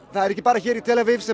það er ekki bara hér í tel Avív sem